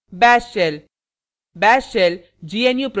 bash shell